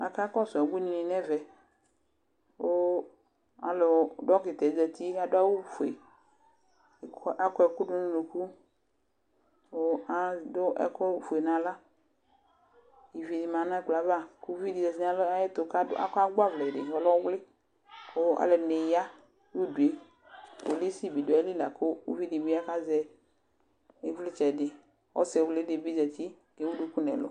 Aƙakɔsʊ ɛƙunɩ nu ɛmɛ ƙu ɔlʊnɔ ɩɗjɔɗuƙaluɛ ɔtaɓɩ ɔzatɩ ƙu aɗu awu ofue ƙu aɗu ɛƙu nu aɣla ƙu aƙuɛƙuɗunu unuƙu ƙu aɗu ɛƙu ofue nu aɣla ɩʋɩmanu ɛƙplɔ ayaʋa ƙu uʋiɗɩ ɔzatɩnu aƴɛtu aƙɔ agɓaʋlɛɗɩ mu ɔlɛ ɔwlɩ alu ɛɗɩnɩ aƴa nu uɗue ƙpolusɩ ɓɩɗu aƴɩlɩ ƙu uʋɩɗɩɓɩ azɛ ɩʋlɩtsɛɗɩ ɔsɩwlɩɓɩ ɔzatɩ ƙu ewu ɛƙu nu ɛlu